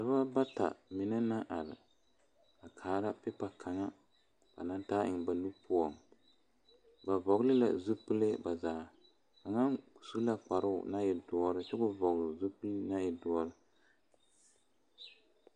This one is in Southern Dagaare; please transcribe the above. Dɔɔba bata mine naŋ are a kaara pipa kaŋa ba naŋ taa eŋ ba nu poɔ ba vɔgle la zupele ba zaa kaŋa su la kparo naŋ e doɔre kyɛ ko vɔgle zupele naŋ e doɔre.